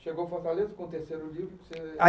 Chegou Fortaleza com o terceiro livro?